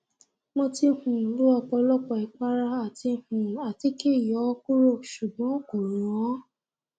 mo ti um lo ọpọlọpọ ìpara àti um àtíkè yọ ọ kúrò ṣùgbọn kò rànán